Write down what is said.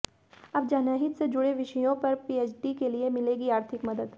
अब जनहित से जुड़े विषयों पर पीएचडी के लिए मिलेगी आर्थिक मदद